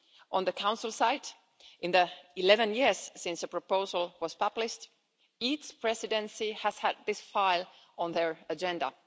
On the Council side, in the 11 years since the proposal was published, each Presidency has had this file on their agenda.